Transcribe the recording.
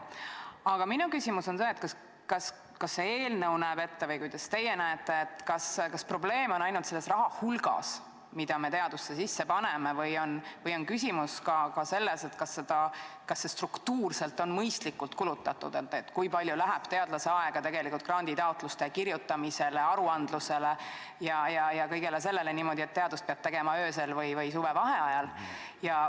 Aga minu küsimus on see, kas eelnõu näeb ette või kuidas teie näete, kas probleem on ainult selles raha hulgas, mida me teadusesse sisse paneme, või on küsimus ka selles, kas seda raha on struktuurselt mõistlikult kulutatud, st kui palju läheb teadlasel aega granditaotluste kirjutamisele, aruandlusele ja kõigele sellele, niimoodi, et teadust peab tegema öösel või suvevaheajal.